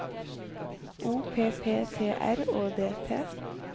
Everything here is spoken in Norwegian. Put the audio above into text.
O P P T R Å D T